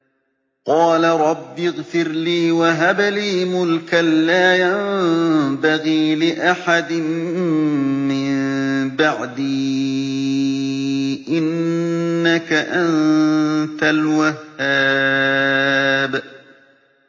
قَالَ رَبِّ اغْفِرْ لِي وَهَبْ لِي مُلْكًا لَّا يَنبَغِي لِأَحَدٍ مِّن بَعْدِي ۖ إِنَّكَ أَنتَ الْوَهَّابُ